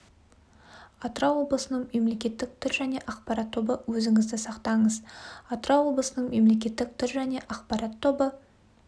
атырау облысының мемлекеттік тіл және ақпарат тобы өзіңізді сақтаңыз атырау облысының мемлекеттік тіл және ақпарат тобы